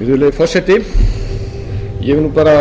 virðulegi forseti ég vil